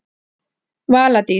Vala Dís.